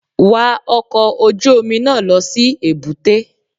Wa ọkọ̀ ojú Omi náà lọ si èbúté